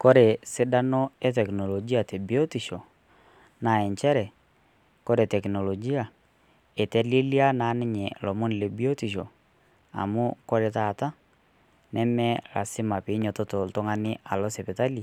Kore sidano e teknolojia te biotisho naa encheere kore teknolojia etelelia naa ninye lomoon le biotisho amu kore taana nemee lasima pii enyotot ltung'ani aloo sipitali